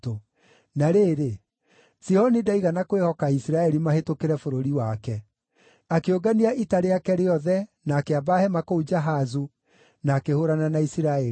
Na rĩrĩ, Sihoni ndaigana kwĩhoka Isiraeli mahĩtũkĩre bũrũri wake. Akĩũngania ita rĩake rĩothe na akĩamba hema kũu Jahazu, na akĩhũũrana na Isiraeli.